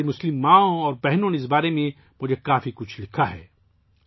ہماری مسلمان ماؤں بہنوں نے مجھے اس بارے میں بہت کچھ لکھا ہے